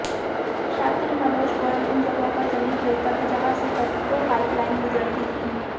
शातिर मनोज गोयल उन जगहों पर जमीन खरीदता था जहां से पेट्रो पाइपलाइन गुजरती थी